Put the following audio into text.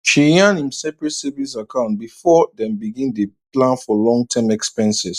she yan im seperate savings account before dem begin day plan for long term expenses